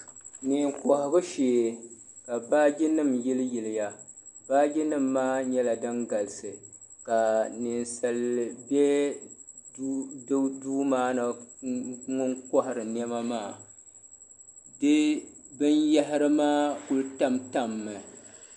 Neen'kɔhigu shee ka baajinima yiliyiliya baajinima maa nyɛla din galisi ka ninsali be di duu maa ni ŋun kɔhiri nɛma maa.